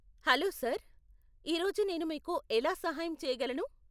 Hello sir , ఈ రోజు నేను మీకు ఎలా సహాయం చేయగలను?